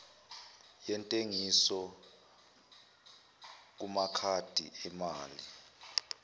yentengiso kumakhadi emali